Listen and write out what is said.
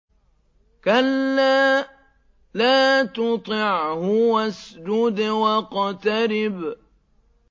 كَلَّا لَا تُطِعْهُ وَاسْجُدْ وَاقْتَرِب ۩